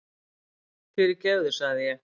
Fyrirgefðu sagði ég.